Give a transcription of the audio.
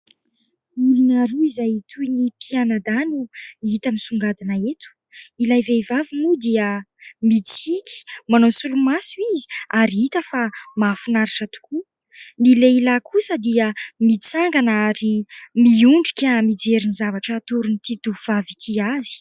ilona roa izay toy ny pianadahy no hita misongadina eto ilay vehivavy moa dia midisika manao ny solo maso izy ary hita fa mahafinaritra tokoa ny lehilahy kosa dia mitsangana ary miondrika mijerin'ny zavatra hatony ity tovavy ity azy